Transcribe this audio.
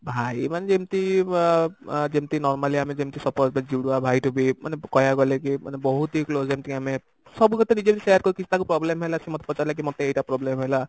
ଭାଇ ମାନେ ଯେମତି ଅ ଯେମତି normally ଆମେ ଯେମତି suppose ଜୁଡବା ଭାଇଠୁ ବି ମାନେ କହିବାକୁ ଗଲେ କି ମାନେ ବହୁତ ହି close ଯେମତି କି ଆମେ ସବୁ କଥା ନିଜେ ନିଜେ share କରୁ କି ତାକୁ କିଛି problem ହେଲା ସେ ମୋତେ ପଚାରିଲା କି ମୋତେ ଏଇଟା problem ହେଲା